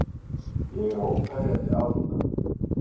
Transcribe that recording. Ég er óferjandi Alda.